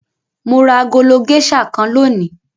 Mo ra agolo géíṣà kan lónìí.